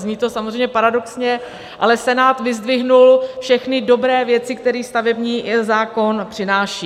Zní to samozřejmě paradoxně, ale Senát vyzdvihl všechny dobré věci, které stavební zákon přináší.